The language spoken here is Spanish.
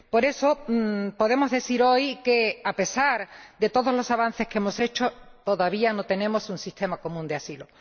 Por eso, podemos decir hoy que, a pesar de todos los avances que hemos hecho, todavía no tenemos un sistema común de asilo.